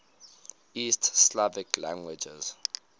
east slavic languages